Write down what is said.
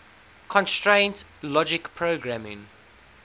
constraint logic programming